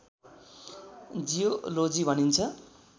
geology भनिन्छ